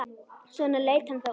Svona leit hann þá út.